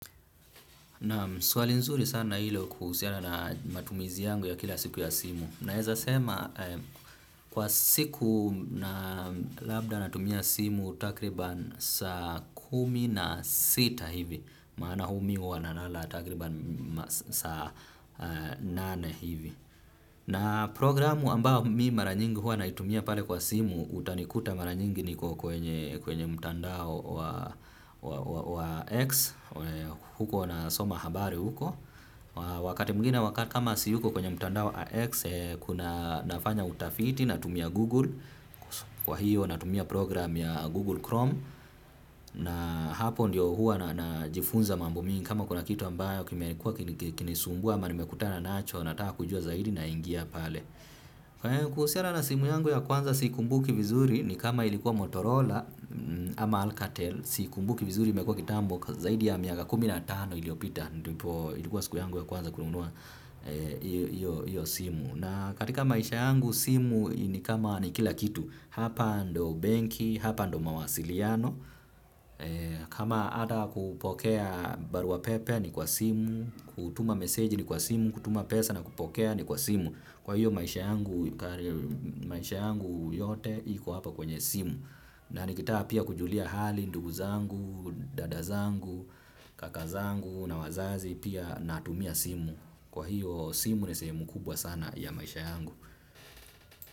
Naam, swali nzuri sana hilo kuhusiana na matumizi yangu ya kila siku ya simu. Naeza sema kwa siku na labda natumia simu takribani saa kumi na sita hivi. Maana huwa mimi nalala takribani saa nane hivi. Na programu ambao mi mara nyingi hua naitumia pale kwa simu utanikuta mara nyingi niko kwenye mtandao wa wa X huko nasoma habari huko. Wakati mwingine wakaa kama si huko kwenye mtandao wa X kuna nafanya utafiti na tumia Google, kwahiyo natumia program ya Google Chrome na hapo ndiyo huwa najifunza mambo mingi kama kuna kitu ambayo kimekuwa kilinisumbu ama nimekutana nacho nataka kujua zaidi naingia pale kuhusiana na simu yangu ya kwanza siikumbuki vizuri ni kama ilikuwa Motorola. Ama Alcatel si kumbuki vizuri imekua kitambo zaidi ya miaka kumi na tano iliyopita ndipo ilikuwa siku yangu ya kwanza kununua iyo simu na katika maisha yangu simu ni kama ni kila kitu hapa ndo benki, hapa ndo mawasiliano kama ata kupokea barua pepe ni kwa simu, kutuma meseji ni kwa simu, kutuma pesa na kupokea ni kwa simu kwahiyo maisha yangu maisha yangu yote iko hapa kwenye simu na nikitaka pia kujulia hali ndugu zangu, dada zangu, kaka zangu na wazazi pia natumia simu. Kwahiyo simu ni sehemu kubwa sana ya maisha yangu.